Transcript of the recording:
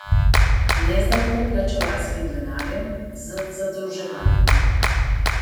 Ne z davkoplačevalskim denarjem, z zadolževanjem.